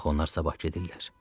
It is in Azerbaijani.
Axı onlar sabah gedirlər.